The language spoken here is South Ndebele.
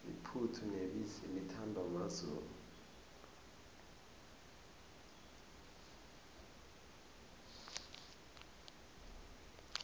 iphuthu nebisi lithandwa mazulu